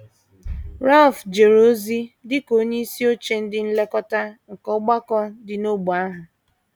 Ralph jere ozi dị ka onyeisi oche ndị nlekọta nke ọgbakọ dị n’ógbè ahụ.